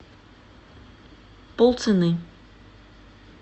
полцены